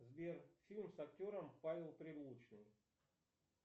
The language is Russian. сбер фильм с актером павел прилучный